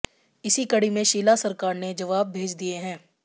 इसी कड़ी में शीला सरकार ने जवाब भेज दिए हैं